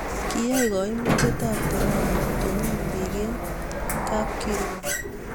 kiyai kaimutietab korona kotonon biik eng' kabkirwok